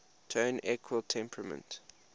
tone equal temperament